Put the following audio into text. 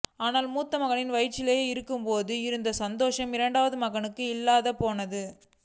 ஆனால் மூத்த மகள் வயிற்றில் இருந்தபோது இருந்த சந்தோசம் இரண்டாவது மகளிற்கு இல்லாமல் போனது